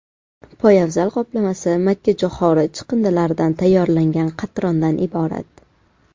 Poyabzal qoplamasi makkajo‘xori chiqindilaridan tayyorlangan qatrondan iborat.